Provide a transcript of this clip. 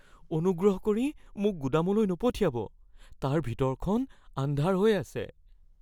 অনুগ্ৰহ কৰি মোক গুদামলৈ নপঠিয়াব। তাৰ ভিতৰখন আন্ধাৰ হৈ আছে।